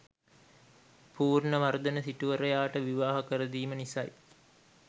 පූර්ණවර්ධන සිටුවරයාට විවාහ කරදීම නිසයි